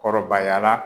Kɔrɔbayara